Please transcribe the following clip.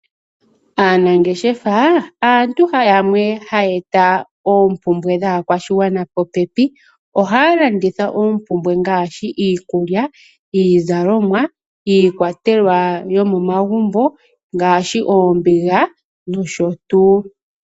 Aanangeshefa aantu yamwe haya eta oompumbwe dhaakwashigwana popepi. Ohaya landitha oompumbwe ngaashi iikulya, iizalomwa, iikwatelwa yomomagumbo ngaashi oombiga nosho tuu.